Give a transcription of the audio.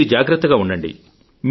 మీరు జాగ్రత్తగా ఉండండి